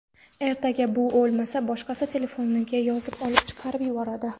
Ertaga bu bo‘lmasa boshqasi telefoniga yozib olib chiqarib yuboradi.